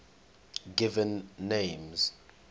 given names